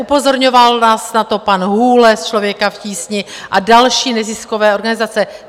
Upozorňoval vás na to pan Hůle z Člověka v tísni a další neziskové organizace.